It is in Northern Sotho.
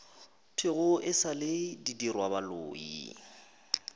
thwego e sa le didirwabaloi